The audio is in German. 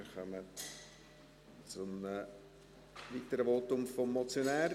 Wir kommen zu einem weiteren Votum des Motionärs.